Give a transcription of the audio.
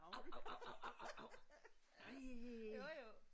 Av av av av av av av nej!